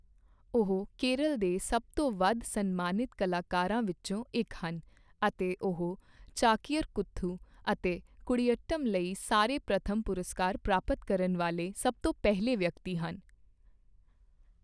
ਉਹ ਕੇਰਲ ਦੇ ਸਭ ਤੋਂ ਵੱਧ ਸਨਮਾਨਿਤ ਕਲਾਕਾਰਾ ਵਿੱਚੋਂ ਇੱਕ ਹਨ ਅਤੇ ਉਹ ਚਾਕੀਅਰ ਕੂਥੂ ਅਤੇ ਕੁਡੀਆਟਮ ਲਈ ਸਾਰੇ ਪ੍ਰਮੁੱਖ ਪੁਰਸਕਾਰ ਪ੍ਰਾਪਤ ਕਰਨ ਵਾਲੇ ਸਭ ਤੋਂ ਪਹਿਲੇ ਵਿਅਕਤੀ ਹਨ